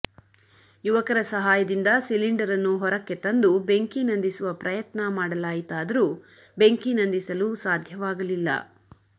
ಯುವಕರ ಸಹಾಯದಿಂದ ಸಿಲಿಂಡರನ್ನು ಹೊರಕ್ಕೆ ತಂದು ಬೆಂಕಿ ನಂದಿಸುವ ಪ್ರಯತ್ನ ಮಾಡಲಾಯಿತಾದರೂ ಬೆಂಕಿ ನಂದಿಸಲು ಸಾಧ್ಯವಾಗಲಿಲ್ಲ